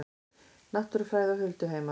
Náttúrufræði og hulduheimar